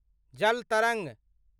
जल तरंग